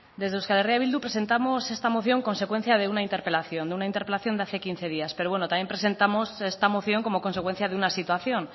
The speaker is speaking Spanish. desde euskal herria bildu presentamos esta moción consecuencia de una interpelación de una interpelación de hace quince días pero bueno también presentamos esta moción como consecuencia de una situación